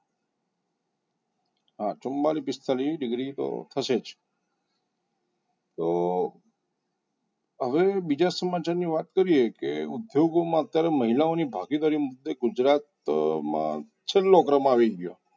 હા ચુમ્માંલીશ પિસ્તાલીસ degree તો થશે તો હવે બીજા સમાજની વાત કરી એ તો એ ઉદ્યોગોમાં ત્યારે મહિલાઓની ભાગીદારી મુદ્દે ગુજરાત મા છેલ્લો ક્રમ આવી ગયો